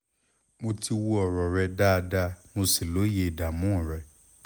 mo ti wo ọ̀rọ̀ rẹ dáadáa mo sì lóye ìdààmú rẹ